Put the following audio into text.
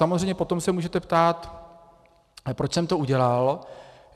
Samozřejmě se potom můžete ptát, proč jsem to udělal.